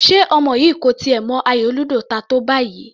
Ṣe ọmọ yìí kò tiẹ̀ mọ ayò ludo ta tó báyìí?